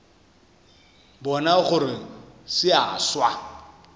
bona gore se a swa